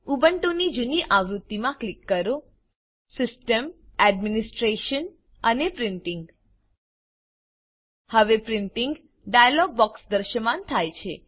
ઉબુન્ટુની જૂની આવૃત્તિમાં ક્લિક કરો સિસ્ટમ સીસ્ટમ Administrationએડમિનિસ્ટ્રેશન અને Printingપ્રિન્ટીંગ હવે પ્રિન્ટીંગ ડાયલોગ બોક્સ દૃશ્યમાન થાય છે